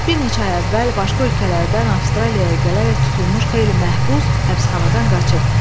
Bir neçə ay əvvəl başqa ölkələrdən Avstraliyaya gələrək tutulmuş xeyli məhbus həbsxanadan qaçıb.